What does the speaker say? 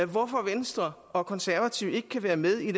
hvorfor venstre og konservative ikke kan være med i